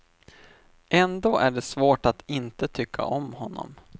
Ändå är det svårt att inte tycka om honom.